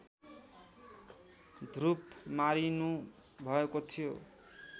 ध्रुव मारिनुभएको थियो